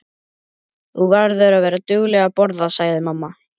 Þú verður að vera dugleg að borða, sagði amma.